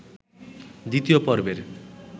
দ্বিতীয় পর্বের